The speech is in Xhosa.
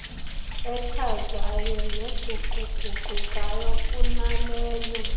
echazayo neguquguqukayo kunaleyo